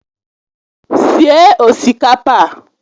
Sie osikapa a